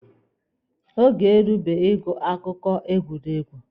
Oge erubeghi ịgụ akụkọ egwuregwu.